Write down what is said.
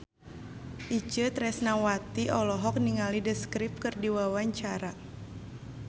Itje Tresnawati olohok ningali The Script keur diwawancara